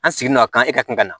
An sigi n'o ka kan e ka kɛ ka na